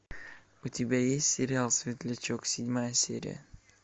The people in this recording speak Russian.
у тебя есть сериал светлячок седьмая серия